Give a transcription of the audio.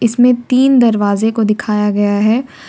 इसमें तीन दरवाजे को दिखाया गया है।